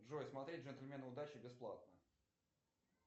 джой смотреть джентльмены удачи бесплатно